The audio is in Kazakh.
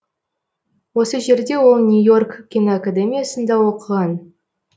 осы жерде ол нью йорк киноакадемиясында оқыған